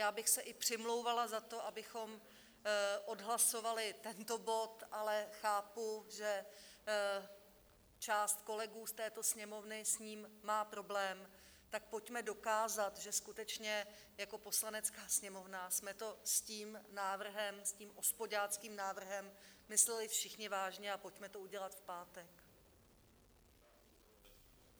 Já bych se i přimlouvala za to, abychom odhlasovali tento bod, ale chápu, že část kolegů z této Sněmovny s ním má problém, tak pojďme dokázat, že skutečně jako Poslanecká sněmovna jsme to s tím návrhem, s tím ospoďáckým návrhem, mysleli všichni vážně, a pojďme to udělat v pátek.